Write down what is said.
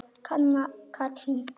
Anna Katrín.